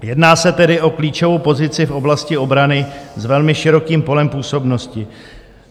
Jedná se tedy o klíčovou pozici v oblasti obrany s velmi širokým polem působnosti.